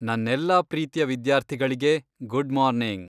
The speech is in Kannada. ನನ್ನೆಲ್ಲಾ ಪ್ರೀತಿಯ ವಿದ್ಯಾರ್ಥಿಗಳಿಗೆ ಗುಡ್ ಮಾರ್ನಿಂಗ್!